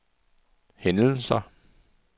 hændelser